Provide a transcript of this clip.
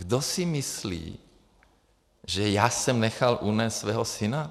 Kdo si myslí, že já jsem nechal unést svého syna?